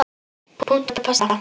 Punktur og basta!